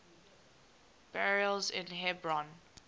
burials in hebron